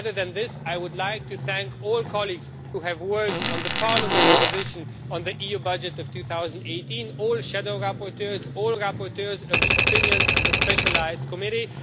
Other than this, I would like to thank all colleagues who have worked on Parliament's position on the EU budget for 2018, all shadow rapporteurs, all rapporteurs of the opinions of the specialised committee.